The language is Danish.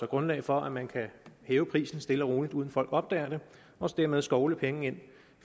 grundlag for at man kan hæve prisen stille og roligt uden at folk opdager det og dermed skovle penge ind